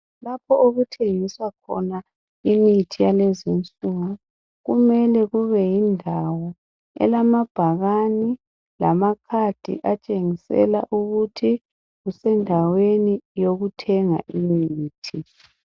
Lapho okuthengiswa khona imithi yalezinsuku kumele kubeyindawo elamabhakani lamakhadi atshengisela ukuthi kusendaweni yokuthenga imithi.